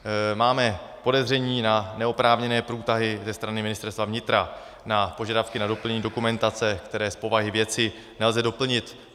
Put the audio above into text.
Máme podezření na neoprávněné průtahy ze strany Ministerstva vnitra na požadavky na doplnění dokumentace, které z povahy věci nelze doplnit.